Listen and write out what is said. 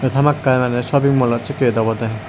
hamakkai mane shopping mall ot sekke yet obode.